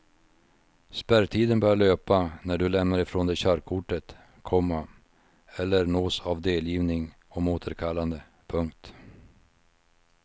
Spärrtiden börjar löpa när du lämnar ifrån dig körkortet, komma eller nås av delgivning om återkallande. punkt